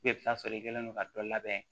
i bɛ taa sɔrɔ i kɛlen don ka dɔ labɛn